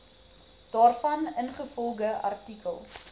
daarvan ingevolge artikel